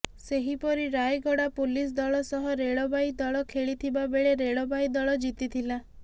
ସେହିପରି ରାୟଗଡା ପୋଲିସ ଦଳ ସହ ରେଳବାଇ ଦଳ ଖେଳିଥିବା ବେଳେ ରେଳବାଇ ଦଳ ଜିତିଥିଲା